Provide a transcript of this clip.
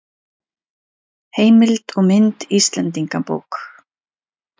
Heimild og mynd Íslendingabók.